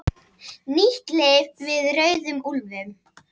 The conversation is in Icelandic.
Nýtt lyf við rauðum úlfum